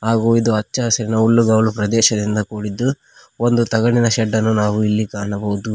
ಹಾಗೂ ಇದು ಹಚ್ಚ ಹಸಿರಿನ ಹುಲ್ಲುಗಾವಲು ಪ್ರದೇಶದಿಂದ ಕೂಡಿದ್ದು ಒಂದು ತಗಡಿನ ಶೆಡ್ ಅನ್ನು ನಾವು ಇಲ್ಲಿ ಕಾಣಬಹುದು.